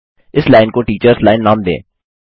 इस लाइन को टीटर्स लाइन नाम दें